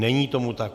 Není tomu tak.